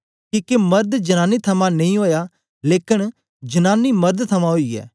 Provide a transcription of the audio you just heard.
किके मर्द जनांनी थमां नेई ओया लेकन जनांनी मर्द थमां ओई ऐ